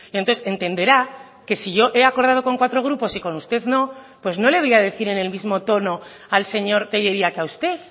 entonces entenderá que si yo he acordado con cuatro grupos y con usted no pues no le voy a decir en el mismo tono al señor tellería que a usted